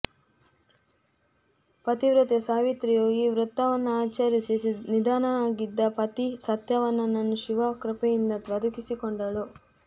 ಪತಿವ್ರತೆ ಸಾವಿತ್ರಿಯು ಈ ವ್ರತವನ್ನಾಚರಿಸಿ ನಿಧನನಾಗಿದ್ದ ಪತಿ ಸತ್ಯವಾನನನ್ನು ಶಿವನ ಕೃಪೆಯಿಂದ ಬದುಕಿಸಿಕೊಂಡಳು